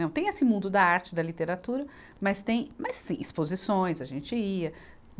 Não tem esse mundo da arte, da literatura, mas tem, mas sim, exposições, a gente ia.